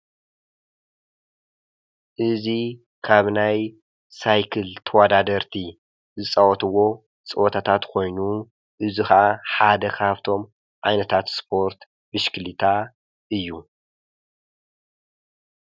እዙይ ኻብ ናይ ሳይክል ተዋዳደርቲ ዝጸወትዎ ጸወታታት ኾይኑ እዙኻዓ ሓደ ካሃፍቶም ኣይነታትእስፖርት ብሽክሊታ እዩ።